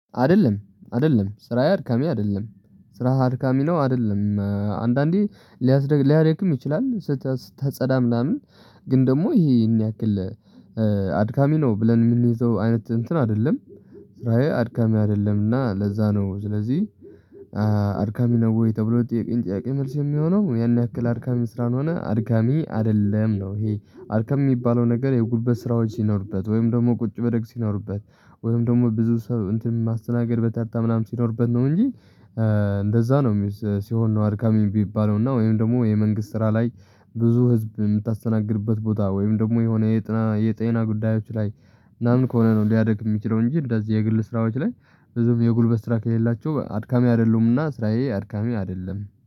አደለም አደለም ስራዬ አድካሚ አደለም ስራህ አድካሚ ነው። አደለም። አንዳንዴ ሊያስደ ሊያደክም ይችላል ስትጸዳ ምናምን ግን ደግሞ ይሄን ያክል አድካሚ ነው ብለን የምንዝው አይነት እንትን አይደለም። ስራዬ አድካሚ አደለምና ለዛ ነው። ስለዚህ አድካሚ ነው ወይ ተብሎ ለተጠየቀኝ ጥያቄ መልስ የሚሆነው ያን ያክል አድካሚ ስላልሆነ አድካሚ አደለም ነው። ይሄ አድካሚ የሚባለው ነገር የጉልበት ስራዎች ሲኖርበት ወይም ደግሞ ቁጭ ብድግ ሲኖርበት ወይም ደግሞ ብዙ ሰው እንትን ማስተናገድ በታጣ ምናምን ሲኖርበት ነው። እንጂ እንደዛ ነው ሲሆን ነው አድካሚ የሚባለው። እና ወይም ደግሞ የመንግስት ስራ ላይ ብዙ ህዝብ የምታስተናግድበት ቦታ ወይም ደግሞ የጤና የጤና ጉዳዮች ላይ ምናምን ከሆነ ነው ሊያደክም የሚችለው። እንጂ እንደዚህ የግል ስራዎች ላይ ብዙም የጉልበት ስራ ከሌላቸው አድካሚ አደሉምና ስራዬ አድካሚ አደለም